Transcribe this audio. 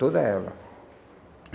Toda ela.